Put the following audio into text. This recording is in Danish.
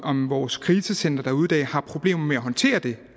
om vores krisecentre derude i dag har problemer med at håndtere det